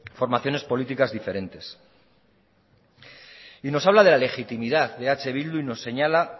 formaciones políticas diferentes nos habla de la legitimidad de eh bildu y nos señala